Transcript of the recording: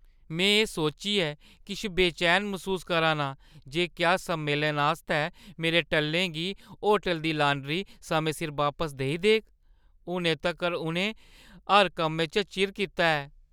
में एह् सोचियै किश बेचैन मसूस करा ना आं जे क्या सम्मेलन आस्तै मेरे टल्लें गी होटलै दी लांडरी समें सिर बापस देई देग। हुनै तक्कर, उʼनें हर कम्मै च चिर कीता ऐ।